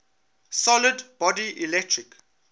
solid body electric